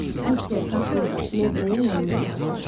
Mister Kap burda Meblinin yanında qalacaqdı.